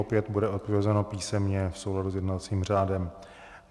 Opět bude odpovězeno písemně v souladu s jednacím řádem.